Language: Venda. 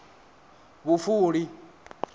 vhufuli